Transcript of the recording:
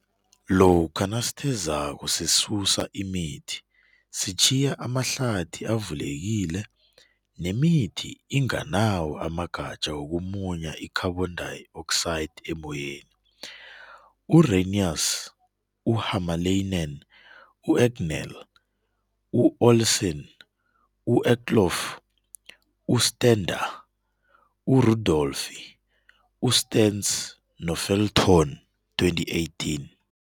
Lokha nasithezako sisusa imithi, sitjhiya amahlathi avulekile nemithi inganawo amagatja wokumunye i-carbon dioxide emoyeni, u-Ranius, u-Hamalainen, u-Egnell, u-Olsson, u-Eklof, u-Stendah, u-Rudolphi, u-Stens no-Felton 2018.